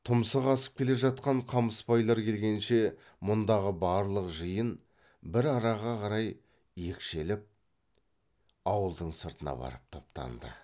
тұмсық асып келе жатқан қамысбайлар келгенше мұндағы барлық жиын бір араға қарай екшеліп ауылдың сыртына барып топтанды